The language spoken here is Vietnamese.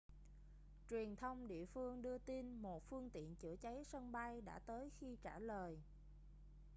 truyền thông địa phương đưa tin một phương tiện chữa cháy sân bay đã tới khi trả lời